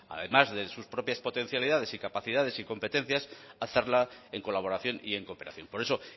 además de sus propias potencialidades y capacidades y competencias hacerla en colaboración y en cooperación por eso